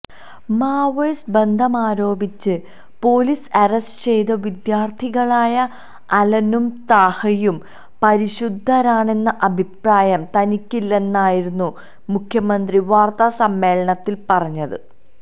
Maoist ബന്ധമാരോപിച്ച് police arrest ചെയ്ത വിദ്യാര്ത്ഥികളായ അലനും താഹയും പരിശുദ്ധരാണെന്ന അഭിപ്രായം തനിക്കില്ലെന്നായിരുന്നു മുഖ്യമന്ത്രി വാര്ത്താസമ്മേളനത്തില് പറഞ്ഞത്